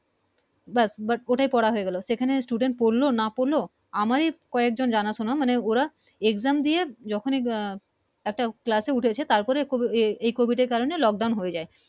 BUT But ওটা করা হয়ে গেলো এখানে সেখানে Student পড়লো না পড়লো আমারি কয়েক জন জানা শোনা মানে ওরা Exam দিয়ে যখনি একটা Class এ উঠছে তার পরে এ~ Covid এর কারনে Lock Down হয়ে যায়